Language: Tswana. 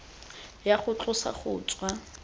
ya go tlosa go tswa